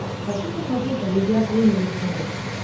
хочу посмотреть амедиа премиум на смотрешке